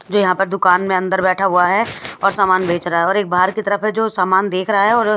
जो यहाँ पर दुकान में अंदर बैठा हुआ है और सामान बेच रहा है और एक बाहर की तरफ है जो सामान देख रहा है और--